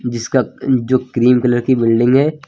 जिसका जो cream colour की बिल्डिंग है।